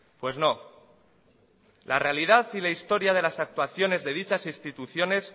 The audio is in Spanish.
pues no la realidad y la historia de las actuaciones de dichas instituciones